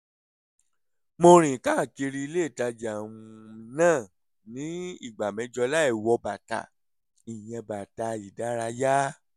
mo rìn káàkiri ilé ìtajà um náà ní ìgbà mẹ́jọ láì wọ bàtà (ìyẹn bàtà ìdárayá)